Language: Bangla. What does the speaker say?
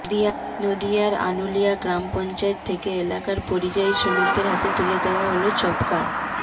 নদীয়ার আনুলিয়া গ্রাম পঞ্চায়েত থেকে এলাকার পরিযায়ী শ্রমিকদের হাতে তুলে দেওয়া হল জব কার্ড